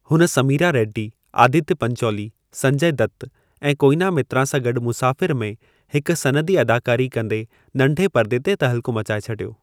हुन समीरा रेड्डी, आदित्य पंचोली, संजय दत्त ऐं कोएना मित्रा सां गॾु मुसाफ़िर में हिक सनदी अदाकारी कंदे नंढे पर्दे ते तहलको मचाए छॾियो।